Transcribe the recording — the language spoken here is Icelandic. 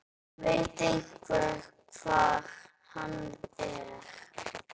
Veit einhver hvar hann er?